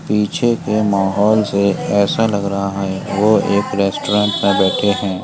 पीछे के माहौल से ऐसा लग रहा है वो एक रेस्टोरेन्ट में बैठे हैं।